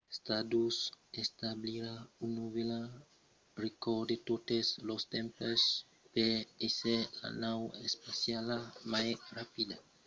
stardust establirà un novèl recòrd de totes los tempses per èsser la nau espaciala mai rapida a tornar sus tèrra batent lo recòrd precedent establit en mai de 1969 pendent la tornada del modul de comanda d'apollo x